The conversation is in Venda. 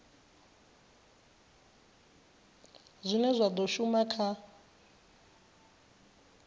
zwine zwa do shuma kha